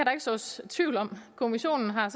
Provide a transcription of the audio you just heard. sås tvivl om kommissionen har